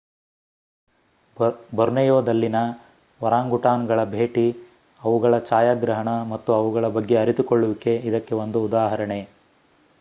ಬೊರ್ನೆಯೊದಲ್ಲಿನ ಒರಾಂಗುಟಾನ್ಗಳ ಭೇಟಿ ಅವುಗಳ ಛಾಯಾಗ್ರಹಣ ಮತ್ತು ಅವುಗಳ ಬಗ್ಗೆ ಅರಿತುಕೊಳ್ಳುವಿಕೆ ಇದಕ್ಕೆ ಒಂದು ಉದಾಹರಣೆ